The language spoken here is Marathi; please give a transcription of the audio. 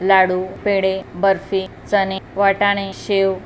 लाडु पेड़े बर्फी चने वटाने शेव--